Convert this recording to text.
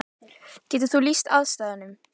Getur þú lýst aðstæðum?